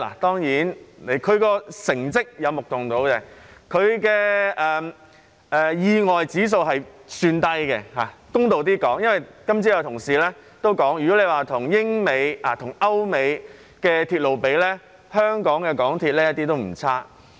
當然，港鐵的成績有目共睹，發生意外的指數也算低——公道一點說，今早有同事也提到——如果與歐美的鐵路相比，香港的港鐵一點也不差。